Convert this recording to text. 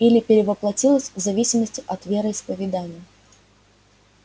или перевоплотилась в зависимости от вероисповедания